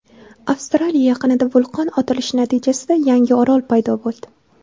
Avstraliya yaqinida vulqon otilishi natijasida yangi orol paydo bo‘ldi.